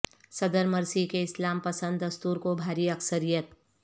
صدر مرسی کے اسلام پسند دستور کو بھاری اکثریت